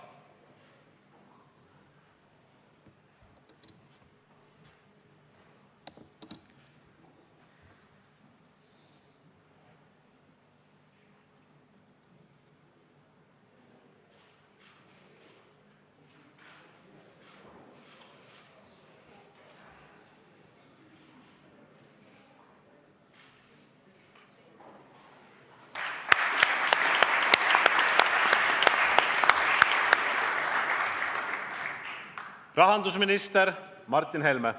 Rahandusminister Martin Helme.